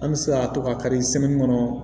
An bɛ se ka to ka kari kɔnɔ